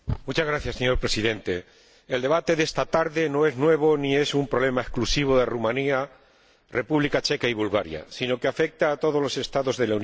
Señor Presidente, el debate de esta tarde no es nuevo ni es un problema exclusivo de Rumanía, la República Checa y Bulgaria, sino que afecta a todos los Estados de la Unión.